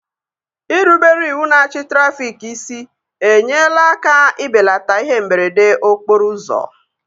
Irubere iwu na achị trafịk isi enyela aka ibelata ihe mberede okporo ụzọ